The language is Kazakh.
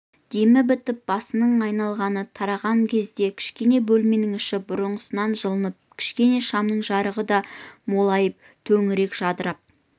демі бітіп басының айналғаны тараған кезде кішкене бөлменің іші бұрынғысынан жылынып кішкене шамның жарығы да молайып төңірек жадырап